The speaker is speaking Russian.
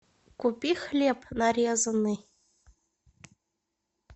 купи хлеб нарезанный